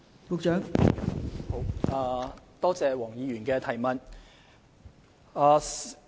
感謝黃議員的補充質詢。